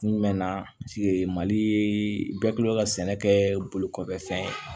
Kun jumɛn na mali bɛ kilen ka sɛnɛ kɛ bolokɔfɛfɛn ye